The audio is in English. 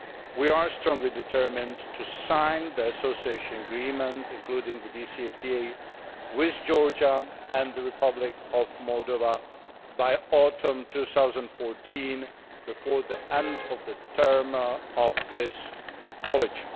We are strongly determined to sign the Association Agreement including the DCFTAs with Georgia and the Republic of Moldova by autumn 2014 before the end of the term of this College.